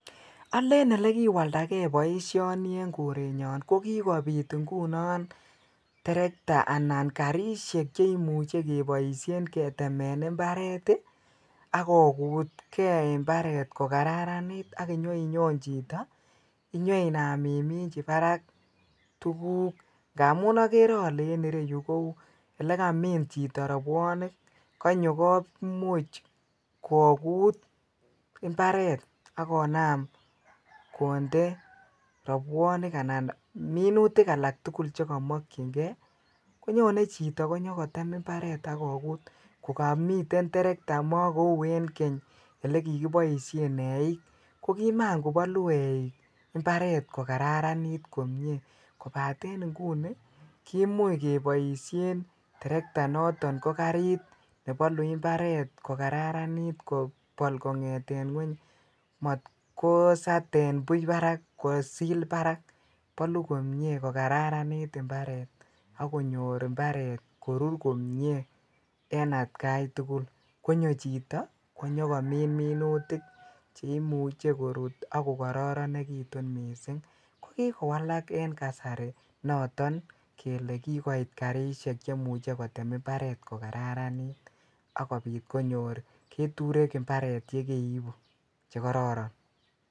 Olen olekiwandake boishoni en korenyon ko kikobit ing'unon terekta anan karishek cheimuche keboishen keteken imbaret ak kokutke imbaret kokararanit ak inyoinyon chito inyoinam iminchi barak tukuk ng'amun okere olee en ireyu Kou elekamin chito robwonik, konyo komuch kokut imbaret ak konam konde robwonik anan minutik alak tukul chekomokyinge konyone chito konyo kotem imbaret ak kokut kokomiten terekta mokou en keny olekikiboishen eiik ko kimaan kobolu eiik imbaret ko kararanit komnye kobaten inguni kemuch keboishen terekta noton ko kariit nebolu imbaret ko kararanit kobol kong'eten ngweny, matkosaten buch barak, kosil barak, boluu komnye ko kararanit imbaret ak konyor imbaret korur komnye en atkai tukul konyo chito konyokomin minutik cheimuche korut ak ko kororonekitun mising, ko kikowalak en kasari niton kelee kikoit karishek chemuche kotem imbaret ko kararanit ak kobiit konyor keturek imbaret yekeibu chekororon.